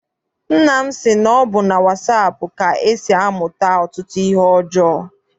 Nna m sị na ọ bụ na wasaapụ ka e si amụta ọtụtụ ihe ọjọọ.